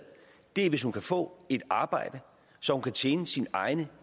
er hvis hun kan få et arbejde så hun kan tjene sine egne